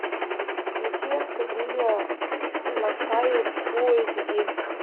включи эскадрилья лафайет фул эйч ди